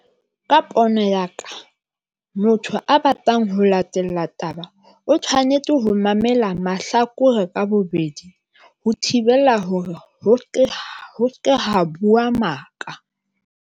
Ka pono ya ka motho a batlang ho latela taba o tshwanetse ho mamela mahlakore ka bobedi, ho thibela hore ho se ke ha bua maka.